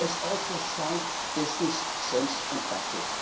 it is also sound business sense and practice.